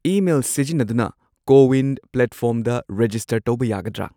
Email ꯁꯤꯖꯤꯟꯅꯗꯨꯅ CoWIN ꯄ꯭ꯂꯦꯠꯐꯣꯔꯝꯗ register ꯇꯧꯕ ꯌꯥꯒꯗ꯭ꯔꯥ?